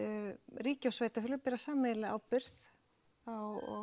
ríki og sveitarfélög bera sameiginlega ábyrgð á